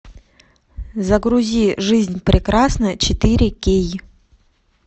загрузи жизнь прекрасна четыре кей